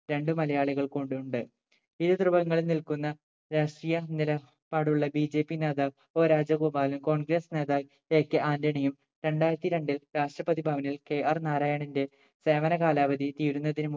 രണ്ടു മലയാളികൾ കൊണ്ട് ഉണ്ട് ഇരു ദ്രുവങ്ങളിൽ നിൽക്കുന്ന രാഷ്ട്രീയ നില പാടുള്ള BJP നേതാവ് o രാജഗോപാൽ congress നേതാവ് AK ആന്റണിയും രണ്ടായിരത്തി രണ്ടിൽ രാഷ്‌ട്രപതി ഭവനിൽ KR നാരായണിന്റെ സേവന കാലാവധി തീരുന്നതിന്